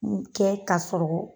Minnu kɛ k'a sɔrɔ